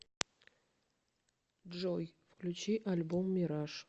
джой включи альбом мираж